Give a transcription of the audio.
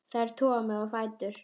Þær toga mig á fætur.